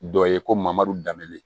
Dɔ ye ko mamaro danbe